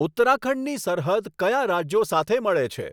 ઉત્તરાખંડની સરહદ કયા રાજ્યો સાથે મળે છે